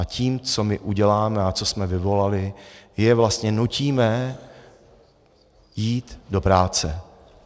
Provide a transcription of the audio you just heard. A tím, co my uděláme a co jsme vyvolali, je vlastně nutíme jít do práce.